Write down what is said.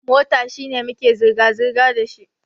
Mota shine muke zirga-zirga dashi.